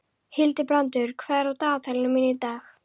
Hildibrandur, hvað er á dagatalinu mínu í dag?